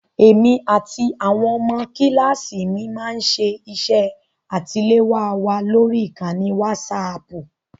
Èmi àti àwọn ọmọ kíláàsì mi máá ń ṣe iṣẹ́ àṣetiléwá wa lórí ìkànnì wásaaàpù